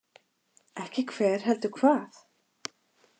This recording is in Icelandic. Ekki hver, heldur hvað.